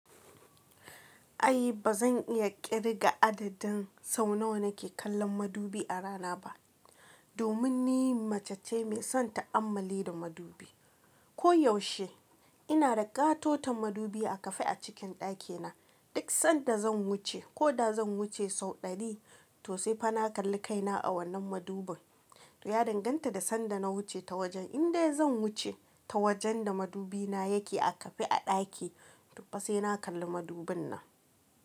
Ai ba zan iya ƙirga adadin sau nawa nake kallon madubi a rana ba. Domin ni mace ce mai son ta'ammali da madubi. Ko yaushe ina da katoton madubi a kafe a cikin ɗakina. Duk sanda zan wuce ko da zan wuce sau ɗari, to sai fa na kalli kaina a wannan madubin. To ya danganta da sanda na wuce ta wajen. Indai zan wuce ta wajen da madubi na yake a kafe a ɗaki, tofa sai na kalli madubin nan.